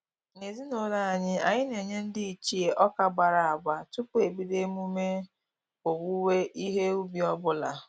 N'ezinụlọ anyị, anyị na-enye ndị ichie ọka agbara agba tupu ebido emume owuwe ihe ubi ọbụla